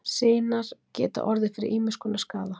Sinar geta orðið fyrir ýmiss konar skaða.